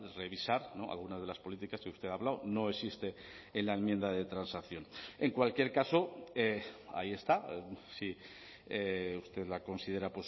revisar algunas de las políticas que usted ha hablado no existe en la enmienda de transacción en cualquier caso ahí está si usted la considera